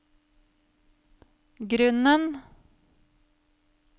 grunnen